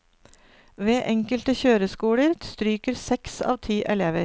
Ved enkelte kjøreskoler stryker seks av ti elever.